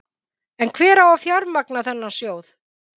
En hver á að fjármagna þennan sjóð?